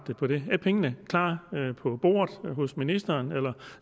på det er pengene klar på bordet hos ministeren eller